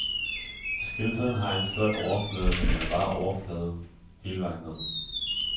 Skildpadden har en flot overflade, men den er bare overflade hele vejen ned.